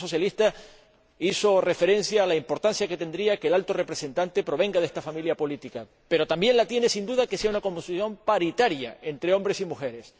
El Grupo socialista hizo referencia a la importancia que tendría que el Alto Representante proviniera de esta familia política, pero también la tiene, sin duda, el que haya una composición paritaria entre hombres y mujeres.